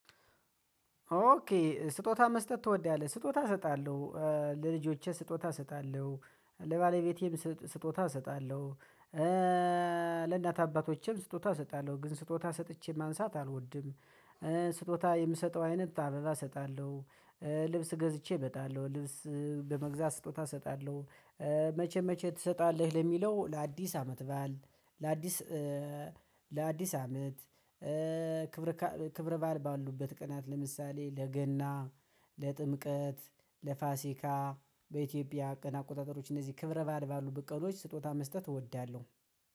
ኦኬ ስጦታ መስጠት ትወዳለህ ስጦታ እሰጣለሁ ለልጆቼ ስጦታ እሰጣለሁ ለባለቤቴም ስጦታ እሰጣለሁ ለእናታ አባቶቼም ስጦታ እሰጣለሁ ግን ስጦታ ሰጥቼ ማንሳት አልወድም። ስጦታ የምሰጠው አይነት ታበላ እሰጣለሁ ልብስ ገዝቼ እበጣለሁ ልብስ በመግዛት ስጦታ እሰጣለሁ። መቼ መቼ ትሰጣለህ? ለሚለው ለአዲስ አመት በዓል ለአዲስ ለአዲስ አመት ክብር ክብር ባል ባሉበት ቅናት ለምሳሌ ለገና ለጥምቀት ለፋሲካ በኢትዮጵያ ቀናት አቆጣጠሮች እነዚህ ክብረ በዓል ባሉበት ቅኖች ስጦታ መስጠት እወዳለሁ